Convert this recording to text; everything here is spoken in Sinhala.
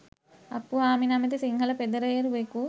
අප්පුහාමි නමැති සිංහල පෙදරේරුවෙකු